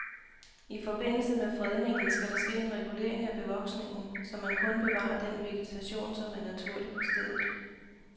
I forbindelse med fredningen skal der ske en regulering af bevoksningen, så man kun bevarer den vegetation, som er naturlig på stedet.